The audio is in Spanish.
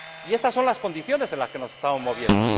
Esas son las condiciones en las que nos estamos moviendo.